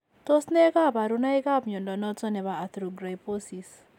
Tos nee kabarunaik ab mnyondo noton nebo Arthrogryposis ?